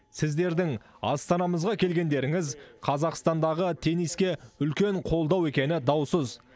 сіздердің астанамызға келгендеріңіз қазақстандағы тенниске үлкен қолдау екені даусыз